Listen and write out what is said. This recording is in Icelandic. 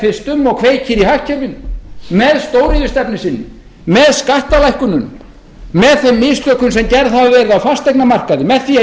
fyrst um og kveikir í hagkerfinu með stóriðjustefnu sinni með skattalækkunum með þeim mistökum sem gerð hafa verið á fasteignamarkaði með því að